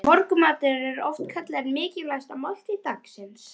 Morgunmatur er oft kallaður mikilvægasta máltíð dagsins.